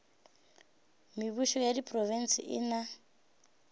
mebušo ya diprofense e na